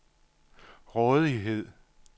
rådighed